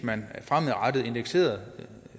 man fremadrettet indekserede